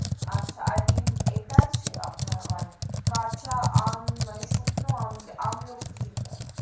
আচ্ছা, আর ইটা আছে কাঁচা আম, মানে শুকনো আম আমলকি যেটা?